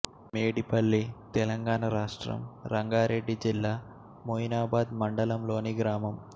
మేడిపల్లి తెలంగాణ రాష్ట్రం రంగారెడ్డి జిల్లా మొయినాబాద్ మండలంలోని గ్రామం